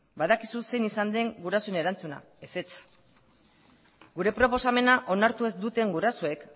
badakizu zein izan den gurasoen erantzuna ezetz gure proposamena onartu ez duten gurasoek